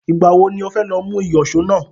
Ìgbà wo ni ó fẹ́ lọ mú ìyọ̀ṣó náà